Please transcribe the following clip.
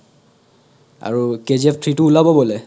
আৰু KGF three তো ওলাব বোলে